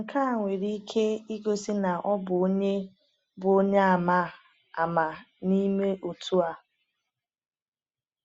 Nke a nwere ike igosi na ọ bụ onye bụ onye ama ama n’ime otu a.